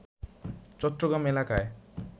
চট্টগ্রাম এলাকায়